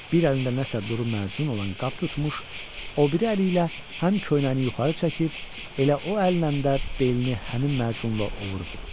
Bir əlində nəsə duru məcun olan qab tutmuş, o biri əli ilə həm köynəyini yuxarı çəkib, elə o əllə də belini həmin məcunla ovurdu.